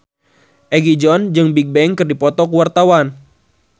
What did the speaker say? Egi John jeung Bigbang keur dipoto ku wartawan